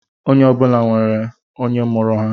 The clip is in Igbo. Onye ọbụla nwere onye mụrụ ha